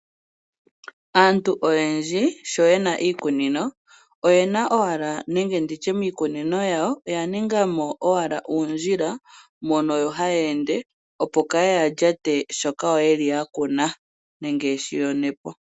Aantu oyendji oye li ya thiga po uundjila miikunino uawo, pokati koshilwa noshilwa, opo ya yande okulyata nenge okuyonagula po iikunomwa yawo.